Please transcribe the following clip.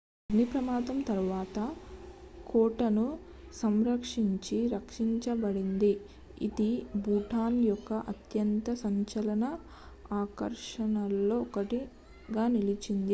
అగ్ని ప్రమాదం తరువాత కోటను సంరక్షించి రక్షించబడింది ఇది భూటాన్ యొక్క అత్యంత సంచలన ఆకర్షణల్లో ఒకటిగా నిలిచింది